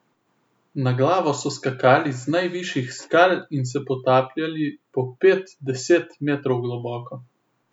Na glavo so skakali z najvišjih skal in se potapljali po pet, deset metrov globoko.